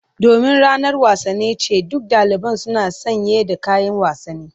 Domin ranar wasanni ce, duk daliban suna sanye da kayan wasanni.